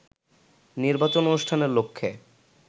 নির্বাচন অনুষ্ঠানের লক্ষ্যে